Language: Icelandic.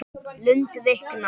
Lund viknar.